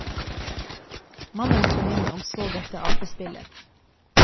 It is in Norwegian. Mannen kom inn og så dette apespillet.